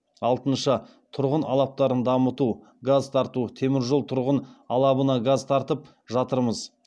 алтыншы тұрғын алаптарын дамыту газ тарту теміржол тұрғын алабына газ тартып жатырмыз